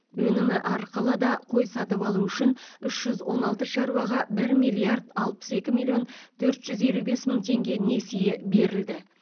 өнімі арқылы да қой сатып алу үшін үш жүз он алты шаруаға бір миллиард алпыс екі миллион төрт жүз елу бес мың теңге несие берілді